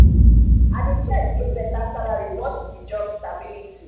i dey check if better salary worth the job stability.